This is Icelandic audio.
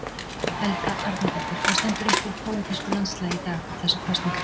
Helga Arnardóttir: Hvað stendur uppúr í pólitísku landslagi í dag fyrir þessar kosningar?